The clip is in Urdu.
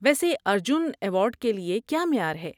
ویسے ارجن ایوارڈ کے لیے کیا معیار ہے؟